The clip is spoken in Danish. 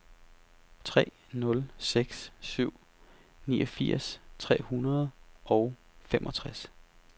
tre nul seks syv niogfirs tre hundrede og femogtres